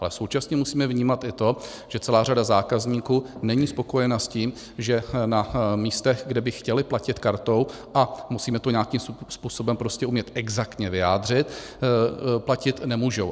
Ale současně musíme vnímat i to, že celá řada zákazníků není spokojena s tím, že na místech, kde by chtěli platit kartou, a musíme to nějakým způsobem prostě umět exaktně vyjádřit, platit nemůžou.